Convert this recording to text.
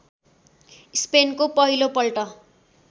स्पेनको पहिलो पल्ट